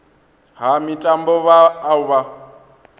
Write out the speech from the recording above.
ha mitambo vha o vha